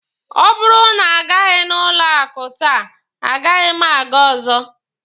Ọ bụrụ na a gaghị n'ụlọ akụ taa, a gaghị m aga ọzọ.